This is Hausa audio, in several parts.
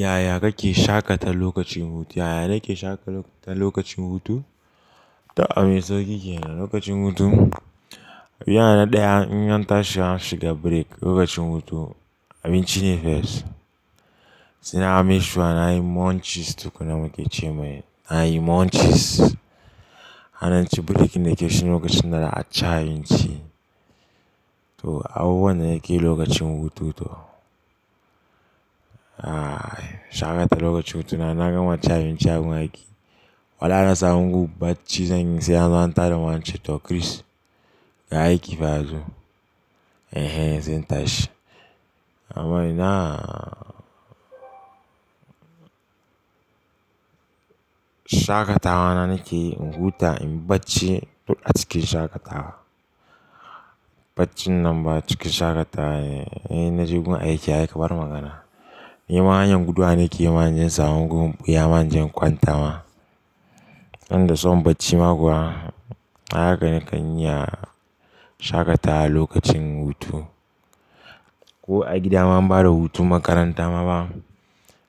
Yaya kake shakata lokacin hutu? Yaya nake shakata lokacin hutu? To abin sauƙi kenan, lokacin hutu yana da ɗayan 'yan tashin shiga break lokacin hutu, abin cine fes. Sena amishawa na yi munchies, tu kuna muke ce mai. Na yi munchies. Hana ci break na ke ci lokacin da na ci a binci. To, abubuwan da nake lokacin hutu to. Ai, shakata lokacin hutu na naga maci a binci a wanki. Wala nasa ma gu bacci zanyi sai an zo anta da mu ance to Chris ga aiki fa yazo. Ehen zen tashi. Amma ina shakatawa na nake in huta in bacci duk a cikin shakatawa. Baccin nan ba cikin shakatawa ne, inna je gun aiki ai ka bar magana. Nema hanyar gudu wa nake yi ma inje insama gu iya ma inje inkwanta ma. Inda soma bacci ma kuwa, haka nakan yi a shakatawa lokacin hutu. Ko a gida ma ba da hutun makaranta ma ba.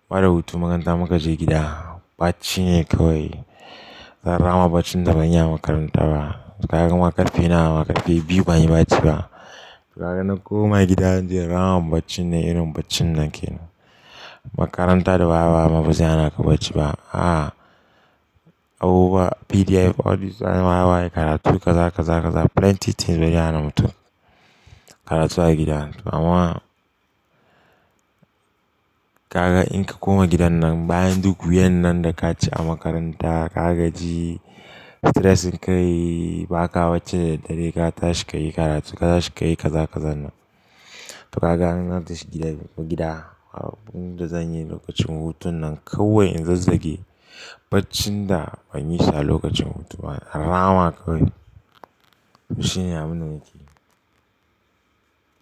Ba da hutun makaranta muka je gida. Bacci ne kawai. Rama baccin da ban yi a makaranta ba. Kaga makarfi naw ma karfe biyu ba a yi bacci ba. Kaga nako ma gida zan je in rama bacci nnan irin bacci nnan kenan. Makarantar da ba a ba mabaze hana ka bacci ba. A, abubuwa PDF, all this waye waye karatu kaza kaza kaza plenty things baze hana mutum. Karatu a gida. Amma kaga in ka koma gidan nan bayan duk wuyan nan da ka ci a makaranta, ka gaji, stressin ka yi, ba ka bacci da dadadare ka tashi ka yi karatu ka tashi ka yi kaza ka zannan. Kaga in ka tashi gida gida, abubu da zanyi lokacin hutun nan kawai in zazzage, baccin da ban yi shi alokacin hutu ba, rama kawai shine abun da nake yi.